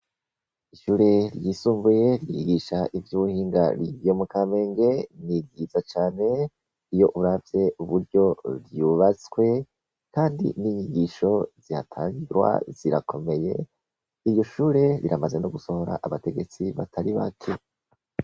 Ishure ryisumbuye ryigisha ivy'ubuhinga ryo mu Kamenge ni ryiza cane, iyo uravye uburyo ryubatswe kandi n'inyigisho zihatangirwa zirakomeye, iryo shure riramaze no gusohora abategetsi batari bake.